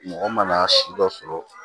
Mɔgɔ mana si dɔ sɔrɔ